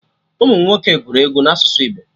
Ụmụnwoke gụrụ egwu na asụsụ Igbo